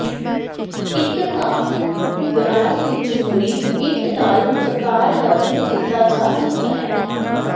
ਇੱਕ ਧਾਤ ਗਰਾਜ ਵਿੱਚ ਮੋਰੀ ਇੱਟ ਨਾਲ ਕਤਾਰਬੱਧ ਕੀਤਾ ਜਾ ਸਕਦਾ ਹੈ